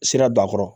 Sira don a kɔrɔ